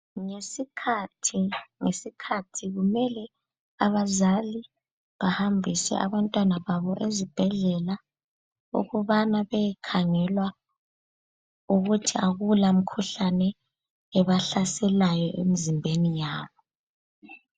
Ngesikhathi, ngesikhathi kumele abazali bahambise abantwana babo ezibhedlela ukubana beyekhangelwa ukuthi akulamikhuhlane ebahlaselayo emzimbeni yabo.